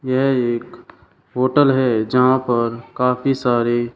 यह एक होटल है जहां पर काफी सारे--